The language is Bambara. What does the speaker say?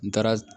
N taara